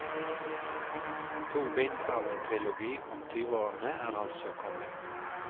To bind av en trilogi om tyveårene er altså kommet.